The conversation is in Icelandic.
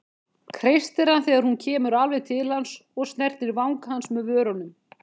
Kreistir hann þegar hún kemur alveg til hans og snertir vanga hans með vörunum.